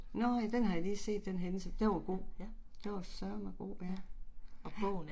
Nåh ja den har jeg lige set den hændelse, den var god, den var sørme god ja, ja